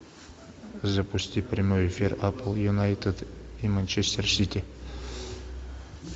запусти прямой эфир апл юнайтед и манчестер сити